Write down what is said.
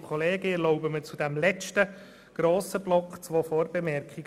Ich erlaube mir zu diesem letzten grossen Block zwei Vorbemerkungen: